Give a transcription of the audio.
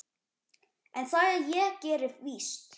en það ég geri víst.